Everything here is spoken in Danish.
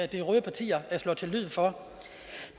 de røde partier slår til lyd for